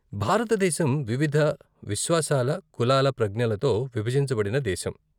భారతదేశం వివిధ విశ్వాసాల, కులాల ప్రజ్ఞలతో విభజించబడిన దేశం.